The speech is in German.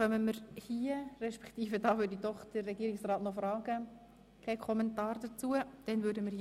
Folglich frage ich den Regierungsrat, ob er das Wort wünscht.